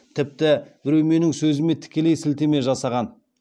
тіпті біреу менің сөзіме тікелей сілтеме жасаған